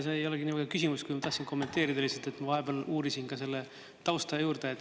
See ei olegi niivõrd küsimus, kui ma tahtsin kommenteerida lihtsalt, et ma vahepeal uurisin ka selle tausta juurde.